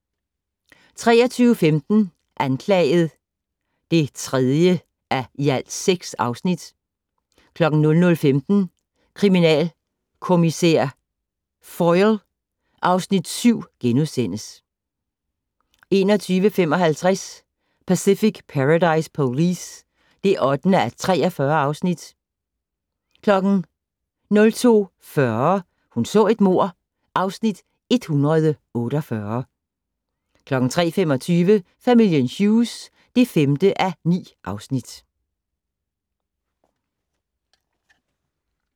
23:15: Anklaget (3:6) 00:15: Kriminalkommissær Foyle (Afs. 7)* 01:55: Pacific Paradise Police (8:43) 02:40: Hun så et mord (Afs. 148) 03:25: Familien Hughes (5:9)